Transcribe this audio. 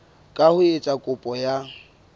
ka ho etsa kopo ya